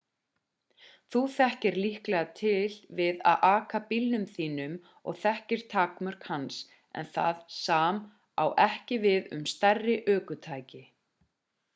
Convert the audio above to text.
þú þekkir líklega til við að aka bílnum þínum og þekkir takmörk hans en það sam á ekki við um stærri ökutæki